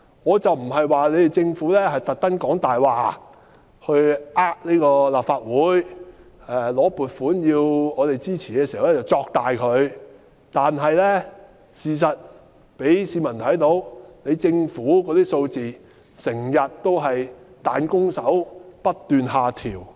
我不是指政府故意說謊以欺騙立法會，向我們申請撥款時便誇大事實，但事實上讓市民看出，政府預測的數字總是不斷下調。